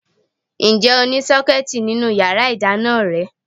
Ǹjẹ́ o ní Sọ́kẹ́tì nínú yàrá ìdáná rẹ?